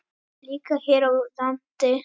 Líka hér á landi.